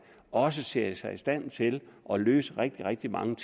også ser sig i stand til at løse rigtig rigtig mange